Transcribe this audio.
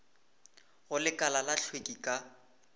go lekala la hlweki ka